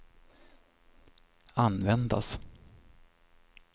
användas